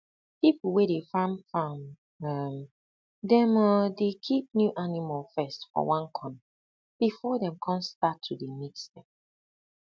people wey dey farm farm um dem um dey keep new animal first for one corner before um them con start to dey mix dem